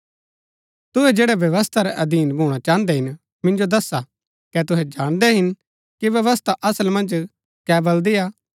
तुहै जैड़ै व्यवस्था रै अधीन भूणा चाहन्दै हिन मिन्जो दसा कै तुहै जाणदै हिन कि व्यवस्था असल मन्ज कै बलदी हा